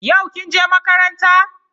Yau kin je makaranta?